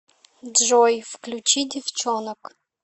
джой включи девчонок